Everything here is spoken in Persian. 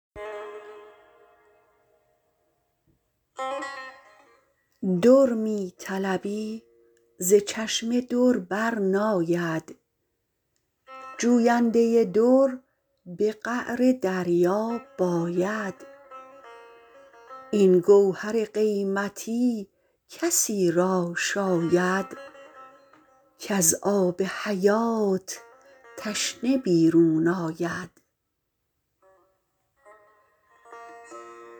در می طلبی ز چشمه در بر ناید جوینده در به قعر دریا باید این گوهر قیمتی کسی را شاید کز آب حیات تشنه بیرون آید